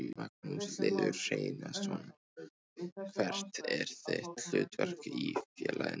Magnús Hlynur Hreiðarsson: Hvert er þitt hlutverk í félaginu?